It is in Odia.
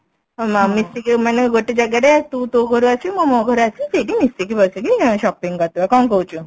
ମ ମ ମିଶିକି ମାନେ ଗୋଟେ ଜାଗାରେ ତୁ ତୋ ଘରୁ ଆସିବୁ ମୁଁ ମୋ ଘରୁ ଆସିବି ସେଇଠି ମିଶିକି ବସିକି shopping କରିଦବା କଣ କହୁଛୁ